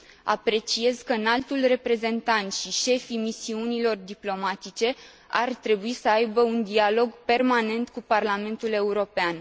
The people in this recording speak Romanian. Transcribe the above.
Apreciez că Înaltul Reprezentant și șefii misiunilor diplomatice ar trebui să aibă un dialog permanent cu Parlamentul European.